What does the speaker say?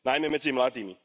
Najmä medzi mladými.